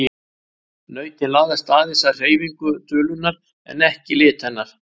Nautin laðast aðeins að hreyfingu dulunnar en ekki lit hennar.